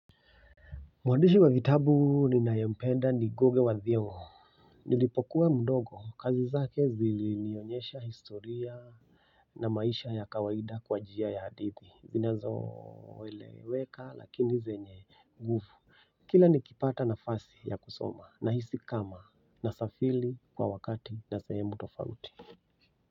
Mwandishi wa vitabu ninayempenda ni Ngugi wa Thiong'o. Nilipokuwa mdogo kazi zake zili nionyesha historia na maisha ya kawaida kwa njia ya hadithi zinazo eleweka lakini zenye nguvu kila nikipata nafasi ya kusoma nahisi kama nasafiri kwa wakati na sehemu tofauti.